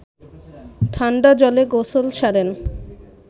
ঠান্ডা জলে গোসল সারেন